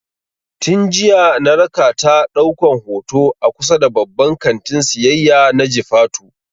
Tin jiya na rakata ɗaukan hoto a kusa da babban kantin siyayya na jifatu